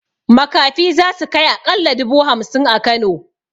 Makafi zasu kai aƙalla dubu hamsin a kano